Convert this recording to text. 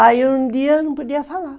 Aí um dia eu não podia falar.